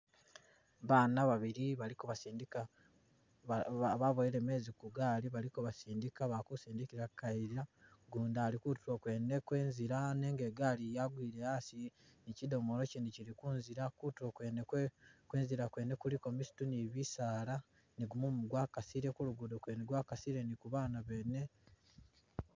Baana babili bali kabasindika ba ba boweele mezi Ku gaali bali kobasindika bali kusindikila Ku kayiila u'gundi ali kutuulo kwene kwezila nenga i'ngaali yangwile a'asi ni chidomoolo chindi chili ku'nzila kutuulo kwene kwe kwe'nzila kuliko misitu ni bisaala, ni gumumu kwa kasile ku'lugudo kwene kwa'kasile ni ku'baana beene.